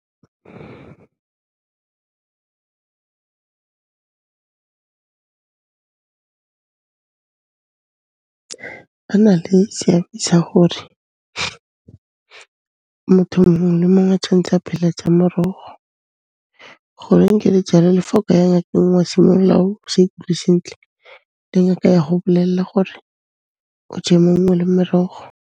Ba na le seabe sa gore motho mongwe le mongwe tshwantse a phele ka morogo. Goreng ke re jalo, le fa o ka ya ngakeng, wa simolla o sa ikutlwe sentle, le ngaka ya go bolela gore o je maungo le merogo.